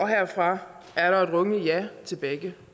herfra er der et rungende ja til begge